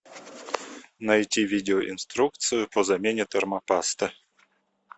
найти видеоинструкцию по замене термопасты